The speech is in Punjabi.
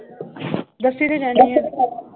ਦੱਸੀ ਤਾਂ ਜਾਨੀ ਆਂ l